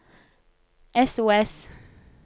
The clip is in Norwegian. sos